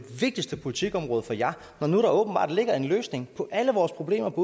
vigtigste politikområde for jer når nu der åbenbart ligger en løsning på alle vores problemer på